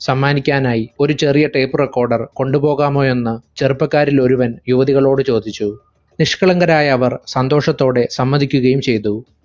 സമ്മാനിക്കാനായി ഒരു ചെറിയ tape recorder കൊണ്ടുപോകാമോയെന്ന് ചെറുപ്പക്കാരിലൊരുവൻ യുവതികളോടു ചോദിച്ചു. നിഷ്കളങ്കരായ അവർ സന്തോഷത്തോടെ സമ്മതിക്കുകയും ചെയ്തു.